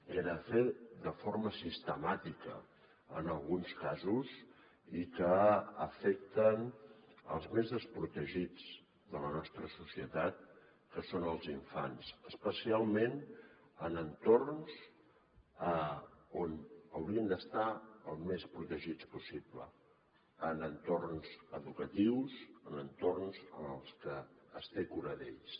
que era fet de forma sistemàtica en alguns casos i que afecten els més desprotegits de la nostra societat que són els infants especialment en entorns on haurien d’estar el més protegits possible en entorns educatius en entorns en els que es té cura d’ells